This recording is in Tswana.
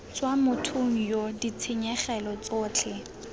tswa mothong yoo ditshenyegelo tsotlhe